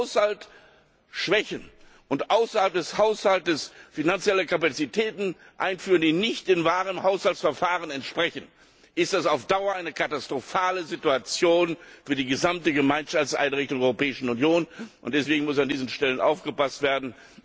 Wenn wir den Haushalt schwächen und außerhalb des Haushalts finanzielle Kapazitäten einführen, die nicht dem wahren Haushaltsverfahren entsprechen, ist das auf Dauer eine katastrophale Situation für die gesamten Gemeinschaftseinrichtungen der Europäischen Union, und deswegen muss an diesen Stellen aufgepasst werden.